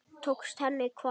Tókst henni hvað?